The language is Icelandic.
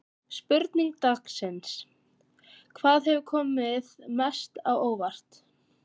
Spurning dagsins: Hvað hefur komið mest á óvart?